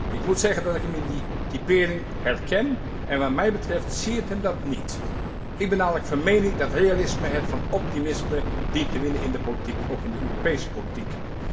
Ik moet zeggen dat ik hem in die typering herken, en wat mij betreft siert hem dat niet. Ik ben namelijk van mening dat realisme het van optimisme dient te winnen in de politiek, ook in de Europese politiek.